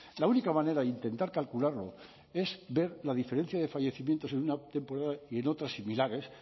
la única manera e intentar calcularlo es ver la diferencia de fallecimientos en una temporada y en otra similares